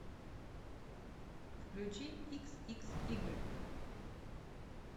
включи икс икс игрек